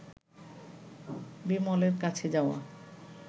বিমলের কাছে যাওয়া